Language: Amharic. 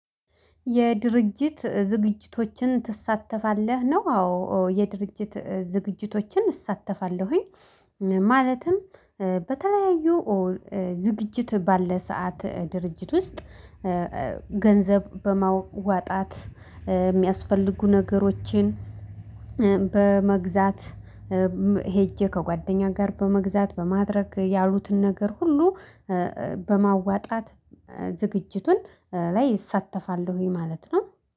የድርጅት ዝግጅቶችን ትሳተፋለህ ነው? አዎ የድርጅት ዝግጅቶችን እሳተፋለሁኝ። ማለትም በተለያዩ ዝግጅት ባለ ሰዓት ድርጅት ውስጥ ገንዘብ በማዋጣት የሚያስፈልጉ ነገሮችን። በመግዛት ሄጄ ከጓደኛ ጋር በመግዛት በማድረግ ያሉትን ነገር ሁሉ በማዋጣት ዝግጅቱን ላይ እሳተፋለሁኝ ማለት ነው